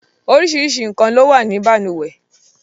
Oríṣiríṣi nǹkan ló wà ní balùwẹ̀.